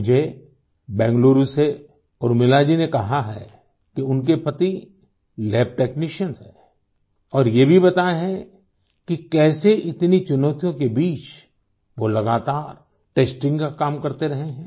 मुझे बैंगलुरु से उर्मिला जी ने कहा है कि उनके पति लैब टेक्नीशियन हैं और ये भी बताया है कि कैसे इतनी चुनौतियों के बीच वो लगातार टेस्टिंग का काम करते रहे हैं